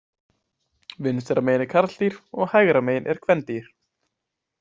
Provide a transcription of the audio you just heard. Vinstra megin er karldýr og hægra megin er kvendýr.